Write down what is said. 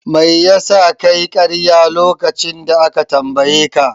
Mai yasa kayi karya lokacin da aka tambaye ka?